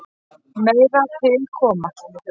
Meira til koma.